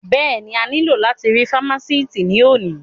Bẹ́ẹ̀ni, a ní lò láti rí fámásìtì ní òní